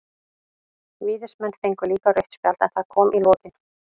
Víðismenn fengu líka rautt spjald, en það kom í lokin.